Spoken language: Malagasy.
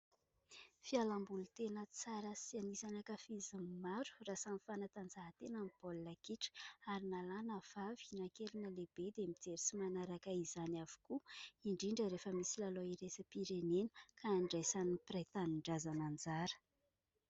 Fialam-boly tena tsara sy anisan'ny ankafizin'ny maro raha samy fanatanjahantena ny baolina kitra ary na lahy na vavy, na kely na lehibe dia mijery sy manaraka izany avokoa, indrindra rehefa misy lalao iraisam-pirenena ka andraisan'ny mpiray tanindrazana anjara.